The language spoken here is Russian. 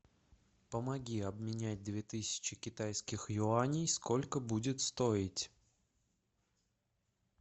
помоги обменять две тысячи китайских юаней сколько будет стоить